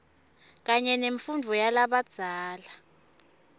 kanye nemfundvo yalabadzala